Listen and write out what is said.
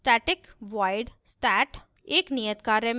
उदाहरण static void stat